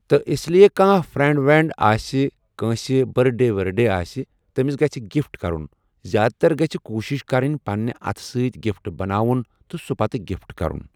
تہٕ اس لیے کانٛہہ فرینٛڈ ورینٛڈ آسہِ کٲنٛسہِ بٔردڈے ؤردڈے آسہِ تٔمِس گژھہِ گفٹ کرُن زیادٕ تر گژھہِ کوٗشش کرٕنۍ پننہِ اتھہٕ سۭتۍ گفٹ بناوُن تہٕ سُہ پتہٕ گفٹ کرُن۔